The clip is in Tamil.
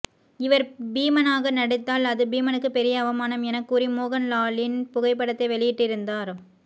இவர் பீமனாக நடித்தால் அது பீமனுக்கு பெரிய அவமானம் என கூறி மோகன் லாலின் புகைப்படத்தை வெளியீட்டிருந்தார்